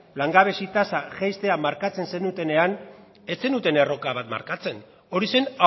langabezia tasa jaistea markatzen zenutenean ez zenuten erronka bat markatzen hori zen